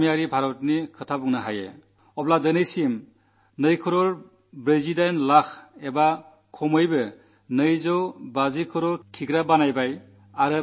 ഗ്രാമീണ ഭാരതത്തിന്റെ കാര്യം പറഞ്ഞാൽ ഇതുവരെ രണ്ടുകോടി നാല്പത്തിഎട്ടു ലക്ഷം അതായത് ഏകദേശം രണ്ടരക്കോടി ശൌചാലയങ്ങൾ നിർമ്മിക്കപ്പെട്ടിരിക്കുന്നു